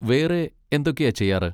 വേറെ എന്തൊക്കെയാ ചെയ്യാറ്?